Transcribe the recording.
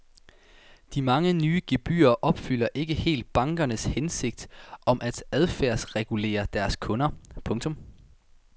De mange nye gebyrer opfylder ikke helt bankernes hensigt om at adfærdsregulere deres kunder. punktum